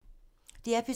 DR P3